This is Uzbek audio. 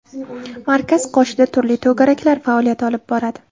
Markaz qoshida turli to‘garaklar faoliyat olib boradi.